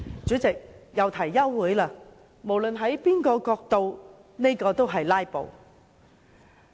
他們又提休會待續，無論從甚麼角度看，這都屬於"拉布"。